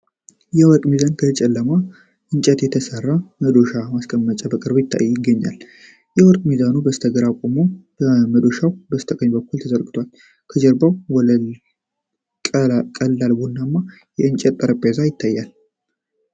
የወርቅ ሚዛንና ከጨለማ እንጨት የተሰራ መዶሻና ማስቀመጫ በቅርበት ይገኛል። የወርቅ ሚዛኑ በስተግራ ቆሞ፣ መዶሻው በስተቀኝ በኩል ተዘርግቷል። የጀርባው ወለል ቀላል ቡናማ የእንጨት ጠረጴዛ ነው።